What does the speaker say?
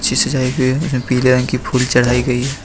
पीले रंग की फूल चढ़ाई गई--